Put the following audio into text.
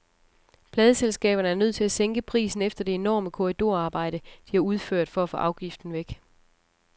Pladeselskaberne er nødt til at sænke prisen efter det enorme korridorarbejde, de har udført for at få afgiften væk.